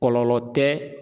Kɔlɔlɔ tɛ.